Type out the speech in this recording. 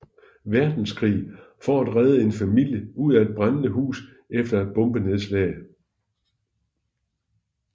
Verdenskrig for at redde en familie ud af et brændende hus efter et bombenedslag